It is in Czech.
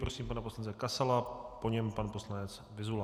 Prosím pana poslance Kasala, po něm pan poslanec Vyzula.